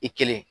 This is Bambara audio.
I kelen